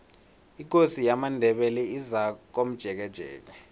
ikosi yamandebele izakomjekejeke